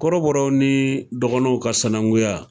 Kɔrɔbɔrɔ ni dɔgɔnɔnw ka sananguya